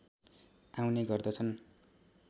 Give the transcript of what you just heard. आउने गर्दछन्